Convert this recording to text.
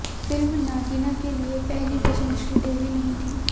film Nagina के लिए पहली पसंद श्रीदेवी नहीं थीं